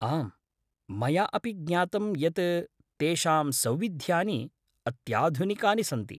आम्, मया अपि ज्ञातं यत् तेषां सौविध्यानि अत्याधुनिकानि सन्ति।